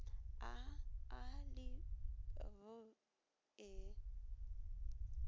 a a le b e